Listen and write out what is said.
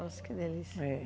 Nossa, que delícia, é.